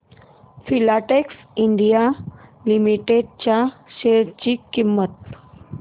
Filatex India limited च्या share ची किंमत